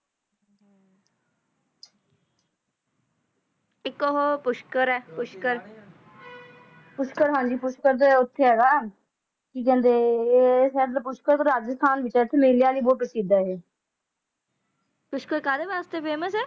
tractor ਕੁਠਾਲੀ ਗੁਰਮਤਿ ਅੰਕੜਾ ਵਿਗਿਆਨ ਦੇ ਵੱਖ ਵੱਖ ਵੱਖ ਵੱਖ ਕੀਤਾ ਹੈ